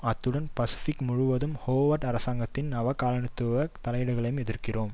அத்துடன் பசிபிக் முழுவதும் ஹோவர்ட் அரசாங்கத்தின் நவ காலனி த்துவ தலையீடுகளையும் எதிர்க்கிறோம்